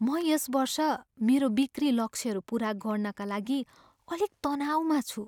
म यस वर्ष मेरो बिक्री लक्ष्यहरू पुरा गर्नाका लागि अलिक तनाउमा छु।